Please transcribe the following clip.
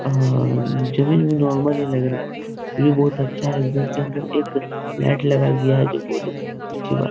और जमीन नॉर्मल ही लग रहा है ये अच्छा है घर के अंदर एक लाइट लगाया गया जो बहुत ही अच्छी बात --